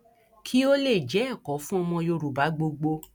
kí ó lè jẹ ẹkọ fún ọmọ yorùbá gbogbo